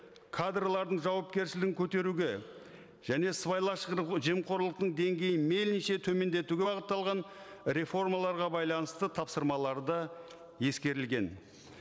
кадрлардың жауапкершілігін көтеруге және сыбайлас жемқорлықтың деңгейін мейлінше төмендетуге бағытталған реформаларға байланысты тапсырмалары да ескерілген